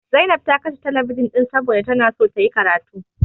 Zainab ta kashe telebijin ɗin saboda tana so tayi karatu.